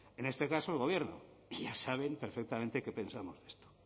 en este caso el gobierno que ya saben perfectamente qué pensamos de esto